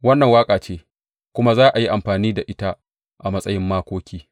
Wannan waƙa ce kuma za a yi amfani da ita a matsayin makoki.